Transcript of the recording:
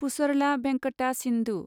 Pusarla Venkata Sindhu